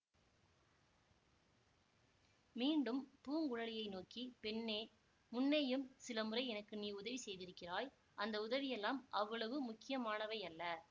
மீண்டும் பூங்குழலியை நோக்கி பெண்ணே முன்னேயும் சில முறை எனக்கு நீ உதவி செய்திருக்கிறாய் அந்த உதவியெல்லாம் அவ்வளவு முக்கியமானவையல்ல